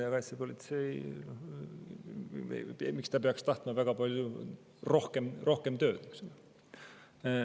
Ja miks peaks kaitsepolitsei tahtma väga palju rohkem tööd?